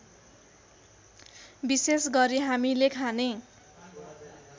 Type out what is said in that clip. विशेषगरी हामीले खाने